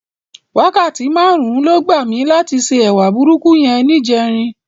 Wákàtí márùn-ún ló gbà mí láti se ẹwà burúkú yẹn níjẹrin.